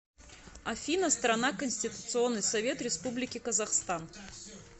афина страна конституционный совет республики казахстан